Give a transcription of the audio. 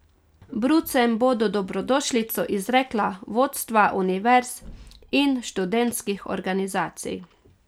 Brucem bodo dobrodošlico izrekla vodstva univerz in študentskih organizacij.